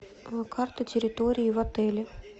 карта территории в отеле